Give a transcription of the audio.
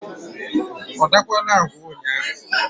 ọ dakwaala agwa ụnyaahụ?